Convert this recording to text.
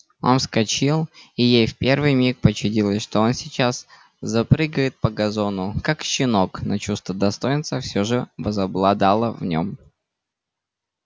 он вскочил и ей в первый миг почудилось что он сейчас запрыгает по газону как щенок но чувство достоинства всё же возобладало в нем